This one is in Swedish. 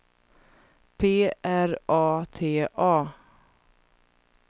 P R A T A